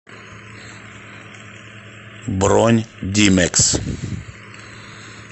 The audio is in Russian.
бронь димэкс